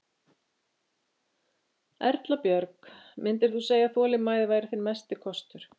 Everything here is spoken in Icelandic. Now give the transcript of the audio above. Erla Björg: Myndir þú segja að þolinmæði væri þinn mesti kostur?